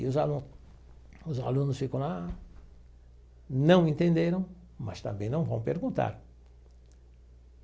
E os alu os alunos ficam lá, não entenderam, mas também não vão perguntar.